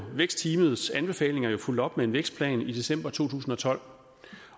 vækstteamets anbefalinger jo fulgt op med en vækstplan i december to tusind og tolv